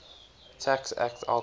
tax act outlawed